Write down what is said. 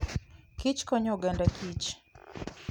Kich konyo oganda Kich.